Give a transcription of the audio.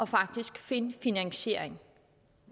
faktisk at finde en finansiering